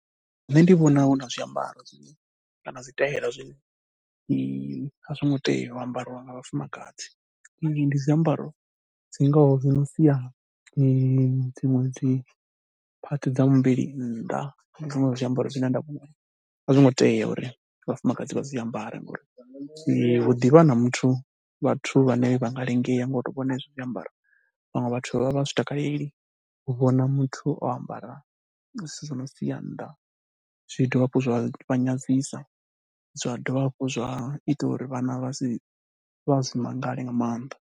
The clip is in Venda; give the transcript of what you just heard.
Nṋe ndi vhona hu na zwiambaro kana zwitaela zwine a zwo ngo tea u ambariwa nga vhafumakadzi. Ndi zwiambaro dzi ngaho zwi no sia dzi dziṅwe dziphathi dza muvhili nnḓa. Ndi zwone zwiambaro zwine nda vhuna, a zwo ngo tea uri vhafumakadzi vha zwi ambare ngori hu ḓi vha na muthu, vhathu vhane vha nga lingea ngo tou vhona hezwi zwiambaro. Vhaṅwe vhathu vha vha zwi takaleli u vhona muthu o ambara zwithu zwi no sia nnḓa, zwi dovha hafhu zwa vha nyadzisea, zwa dovha hafhu zwa ita uri vhana vha si, vha si mangale nga maanḓa.